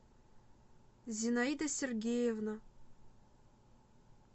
зинаида сергеевна